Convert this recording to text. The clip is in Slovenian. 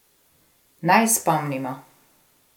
Naj spomnimo.